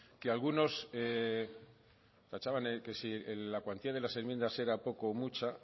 que algunos tachaban que si la cuantía de las enmiendas era poca o mucha